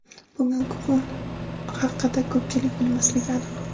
Bugungi kun haqida ko‘pchilik bilmasligi aniq.